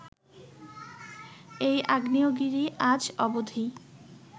এই আগ্নেয়গিরি আজ অবধি